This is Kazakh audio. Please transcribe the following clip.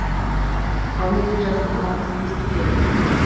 ал менің жасым алпыс беске келді